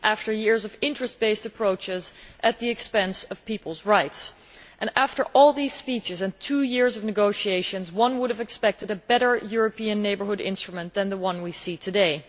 After years of interest based approaches at the expense of people's rights and after all these speeches and two years of negotiation, one would have expected a better European Neighbourhood Instrument than the one we see today.